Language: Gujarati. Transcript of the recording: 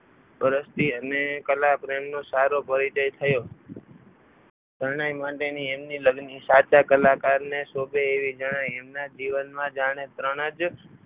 વર્ષથી એમને કલા પ્રેમનો સારો પરિચય થયો. શરણાઈ માટેની એમની લગ્ન ની સાચા કલાકારને શોભે એવી જણાઈ એમના જીવનમાં જાણે ત્રણ જ